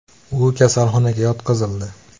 U kasalxonaga yotqizildi.